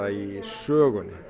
í sögunni